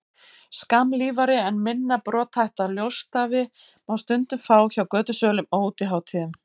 skammlífari en minna brothætta ljósstafi má stundum fá hjá götusölum á útihátíðum